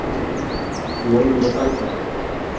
Von um að bæta sig.